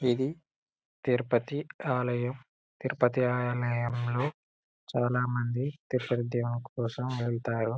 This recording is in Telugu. ఇది తిరుపతి ఆలయం తిరుపతి ఆలయంలో చాలా మంది తిరుపతి దేముడు కోసం వెళ్తారు.